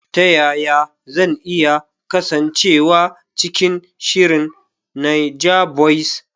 Ta yaya zan iya kasancewa cikin shirin NAIJAVOICES?